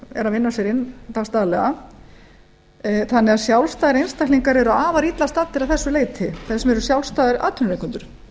eru að vinna sér inn dags daglega þannig að sjálfstæðir einstaklingar eru afar illa staddir að þessu leyti þess vegna eru sjálfstæðir atvinnurekendur